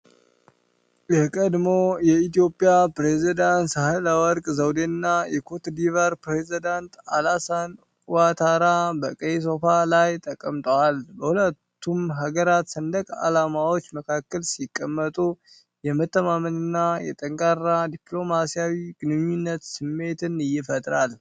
የቀድሞ የኢትዮጵያ ፕሬዝዳንት ሳህለወርቅ ዘውዴና የኮትዲቯር ፕሬዝዳንት አላሳን ኡዋታራ በቀይ ሶፋ ላይ ተቀምጠዋል። በሁለቱም ሀገራት ሰንደቅ አላማዎች መካከል ሲቀመጡ የመተማመንና የጠንካራ ዲፕሎማሲያዊ ግንኙነት ስሜትን ይፈጥራል።